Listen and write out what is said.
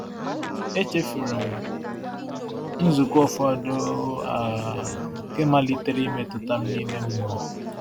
Echefuru m nzukọ ụfọdụ, um nke malitere imetụta m n’ime mmụọ.